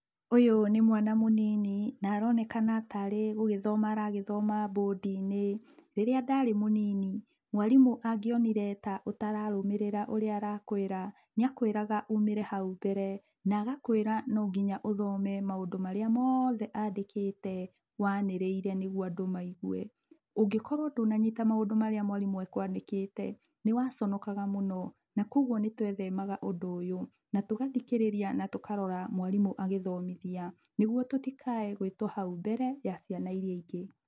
Ũyũ nĩ mwana mũnini, na aronekana tarĩ gũgĩthoma aragĩthoma bũndi-inĩ. Rĩrĩa ndarĩ mũnini, mwarimũ angĩonire ta ũtararũmĩrĩra ũrĩa arakwĩra, nĩa kwĩraga uumĩre hau mbere na agakwĩra no nginya ũthome maũndũ marĩa moothe andĩkĩte wanĩrĩire nĩgũo andũ maĩgwe. Ũngĩkorwo ndũnanyita maũndũ marĩa mwarimũ e kwandĩkĩte, nĩ waconokaga mũno na kogũo nĩ twethemaga ũndũ ũyũ, na tũgathikĩrĩria na tũkarora mwarimũ agĩthomithia, nĩgũo tũ tĩkae gwĩtwo hau mbere ya ciana irĩa ingĩ.